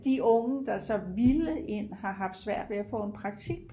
de unge der så har villet ind har haft svært ved at få praktik